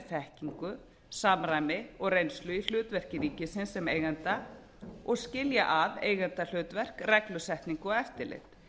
þekkingu samræmi og reynslu í hlutverki ríkisins sem eiganda og skilja að eigendahlutverk reglusetningu og eftirlit